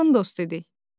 Yaxın dost idik.